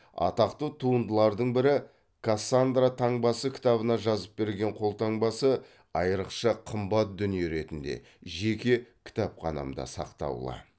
атақты туындыларының бірі кассандра таңбасы кітабына жазып берген қолтаңбасы айрықша қымбат дүние ретінде жеке кітапханымда сақтаулы